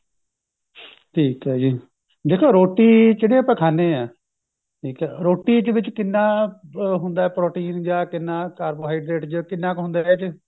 ਠੀਕ ਹੈ ਜੀ ਦੇਖੋ ਰੋਟੀ ਜਿਹੜੀ ਆਪਾਂ ਖਾਂਦੇ ਹਾਂ ਠੀਕ ਹੈ ਰੋਟੀ ਦੇ ਵਿਹ ਕਿੰਨਾ ਹੁੰਦਾ ਹੈ protein ਜਾ ਕਿੰਨਾ carbohydrate ਜਾ ਕਿੰਨਾ ਕਾ ਹੁੰਦਾ ਹੈ